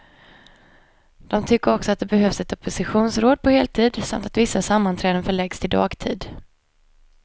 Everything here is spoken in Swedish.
De tycker också att det behövs ett oppositionsråd på heltid, samt att vissa sammanträden förläggs till dagtid.